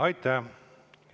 Aitäh!